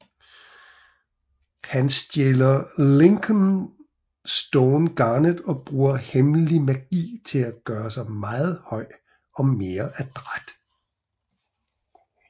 Han stjæler Linkle Stone Garnet og bruger hemmelig magi til at gøre sig meget høj og mere adræt